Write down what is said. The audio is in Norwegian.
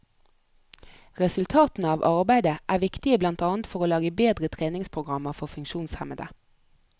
Resultatene av arbeidet er viktige blant annet for å lage bedre treningsprogrammer for funksjonshemmede.